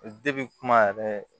kuma yɛrɛ